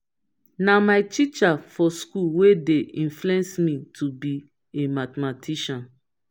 na my teacher for school wey dey influence me to be a mathematician